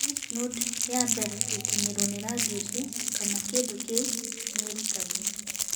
Lymph node ya mbere gũkinyĩrwo nĩ rangi ũcio kana kĩndũ kĩu nĩ ĩrutagwo.